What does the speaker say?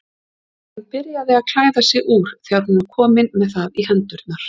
Hún byrjaði að klæða sig úr þegar hún var komin með það í hendurnar.